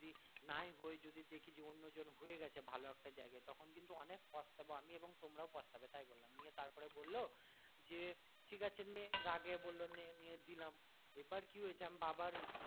নাই হয় যদি দেখি যে অন্য জন হয়ে গেছে ভালো একটা জায়গায় তখন কিন্তু অনেক পচতাবো আমি এবং তোমরাও পচতাবে তাই বললাম নিয়ে তারপরে বললো যে ঠিক আছে নে রাগে বললো নে নিয়ে দিলাম এবার কি হয়েছে বাবার